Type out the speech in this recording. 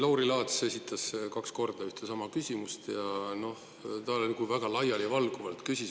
Lauri Laats esitas kaks korda ühe ja sama küsimuse, aga ta küsis väga laialivalguvalt.